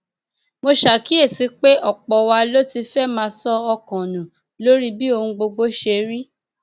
mo ṣàkíyèsí pé ọpọ wa ló ti fẹẹ máa sọ ọkàn nù lórí bí ohun gbogbo ṣe rí